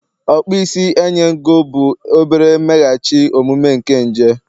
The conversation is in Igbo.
okpo isi enyen ego, bụ obere mmeghachi omume nke nje